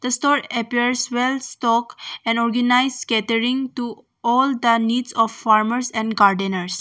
The store appears well stocked and organized catering to all the needs of farmers and gardeners.